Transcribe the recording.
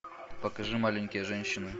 покажи маленькие женщины